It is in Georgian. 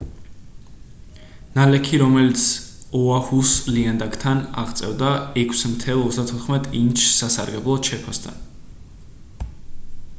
ნალექი რომელიც ოაჰუს ლიანდაგთან აღწევდა 6,34 ინჩს სასარგებლოდ შეფასდა